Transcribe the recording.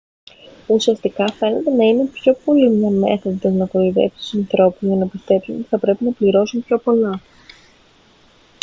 ουσιαστικά φαίνεται να είναι πιο πολύ μια μέθοδος να κοροϊδέψει τους ανθρώπους για να πιστέψουν ότι θα πρέπει να πληρώσουν πιο πολλά